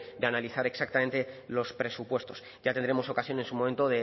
de analizar exactamente los presupuestos ya tendremos ocasión en su momento